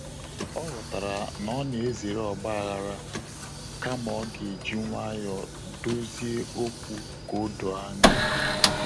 Ọ ghọtara na ọ na ezere ọgbaaghara kama ọ ga eji nwayọ dozie okwu ka o doo anya